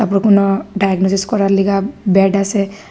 বড় কোনো ডায়াগনোসিস করার লিগা ব্যাড আসে।